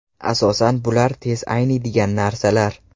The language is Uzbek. Asosan bular tez ayniydigan narsalar.